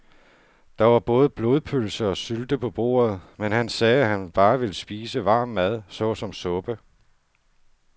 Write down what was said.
Der var både blodpølse og sylte på bordet, men han sagde, at han bare ville spise varm mad såsom suppe.